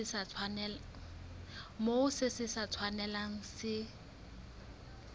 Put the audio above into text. moo se sa tshwanelang se